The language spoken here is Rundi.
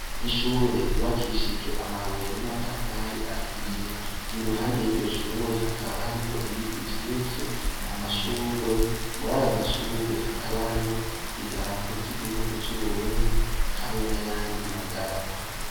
Ishure ryubakishijwe amabuye n'amatafari ahiye; iruhande y'iryoshure hakaba hariho ibiti vyishi, amashurwe, murayo mashurwe hakaba hariho idarapo ry'igihugu c'Uburundi hamwe n'ayandi m'adarapo.